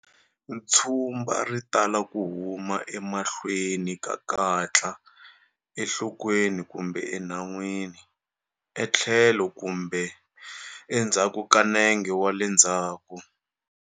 Tshumba ri tala ku huma emahlweni ka katla, enhlokweni kumbe enhan'wini, etlhelo kumbe endzhaku ka nenge wa le ndzhawu.